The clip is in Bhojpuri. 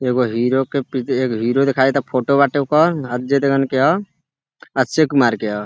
एगो हीरो के पीछे एक हीरो दिखाई देता। फोटो बाटे ओकर अजय देवगन के ह अक्षय कुमार के ह।